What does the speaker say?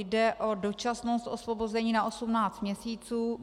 Jde o dočasnost osvobození na 18 měsíců.